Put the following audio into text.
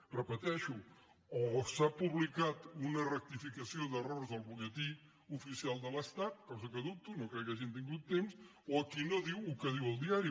ho repeteixo o s’ha publicat una rectificació d’errors del butlletí oficial de l’estat cosa que dubto no crec que hagin tingut temps o aquí no diu el que diu el diari